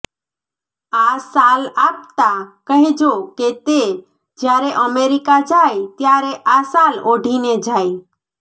આ શાલ આપતા કહેજો કે તે જ્યારે અમેરિકા જાય ત્યારે આ શાલ ઓઢીને જાય